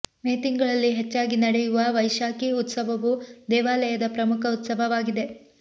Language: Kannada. ಮೇ ತಿಂಗಳಲ್ಲಿ ಹೆಚ್ಚಾಗಿ ನಡೆಯುವ ವೈಶಾಕಿ ಉತ್ಸವವು ದೇವಾಲಯದ ಪ್ರಮುಖ ಉತ್ಸವವಾಗಿದೆ